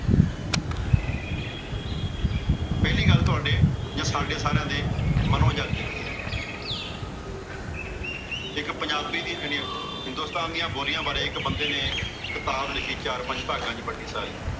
ਪਹਿਲੀ ਗੱਲ ਤੁਹਾਡੇ ਯਾ ਸਾਡੇ ਸਾਰਿਆਂ ਦੇ ਮਨੋ ਜੱਚਦੀ ਏ। ਇੱਕ ਪੰਜਾਬੀ ਦੀਆ ਹਿੰਦੁਸਤਾਨ ਦੀਆ ਬੋਲੀਆਂ ਬਾਰੇ ਇੱਕ ਬੰਦੇ ਨੇ ਕਿਤਾਬ ਲਿਖੀ ਚਾਰ ਪੰਜ ਭਾਗਾ ਚ ਵੱਡੀ ਸਾਰੀ ।